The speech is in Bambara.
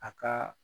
A ka